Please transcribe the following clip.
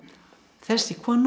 þessi kona